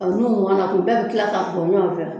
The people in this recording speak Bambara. Ɔ munnu kuma na k'u bɛɛ bɛ tila ka bɔ ɲɔgɔn fɛ.